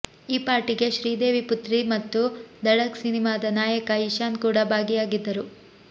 ಈ ಪಾರ್ಟಿಗೆ ಶ್ರೀದೇವಿ ಪುತ್ರಿ ಮತ್ತು ದಡಕ್ ಸಿನಿಮಾದ ನಾಯಕ ಇಶಾನ್ ಕೂಡ ಭಾಗಿಯಾಗಿದ್ದರು